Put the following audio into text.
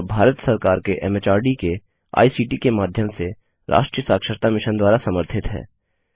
यह भारत सरकार के एमएचआरडी के आईसीटी के माध्यम से राष्ट्रीय साक्षरता मिशन द्वारा समर्थित है